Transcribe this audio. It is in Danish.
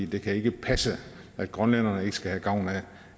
det kan ikke passe at grønlænderne ikke skal have gavn